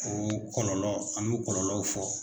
O kɔlɔlɔ an mɛ kɔlɔlɔw fɔ.